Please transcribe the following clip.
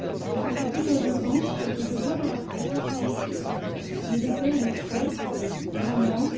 Je vous le dis comme je le pense ce que je vois dans la presse me déplaît et m'effraie grandement.